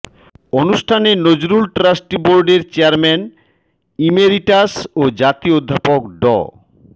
অনুষ্ঠানে নজরুল ট্রাস্ট্রি বোর্ডের chairman emeritus ও জাতীয় অধ্যাপক ড